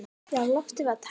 Já, loftið var tært.